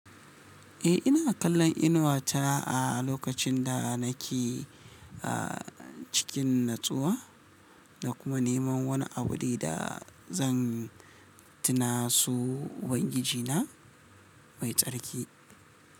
Eh, ina kallon Inuwa ta a lokacin da nake, a cikin natsuwa da kuma neman wani abu da zan tuna su ubangijina mai tsarki.